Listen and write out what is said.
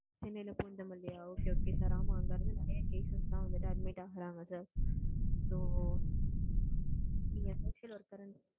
சென்னையில பூந்தமல்லியா ஆ okay okay, ஆமா அங்க இருந்து நெறைய cases எல்லாம் admit ஆகுறாங்க sir சார், so நீங்க social worker,